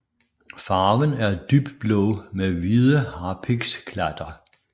Farven er dybblå med hvide harpiksklatter